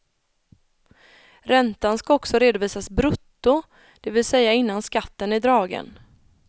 Räntan ska också redovisas brutto, det vill säga innan skatten är dragen.